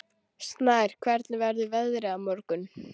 Snær, hvernig verður veðrið á morgun?